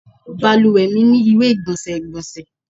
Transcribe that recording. Balùwẹ mi ni iwe-igbọnsẹ igbonse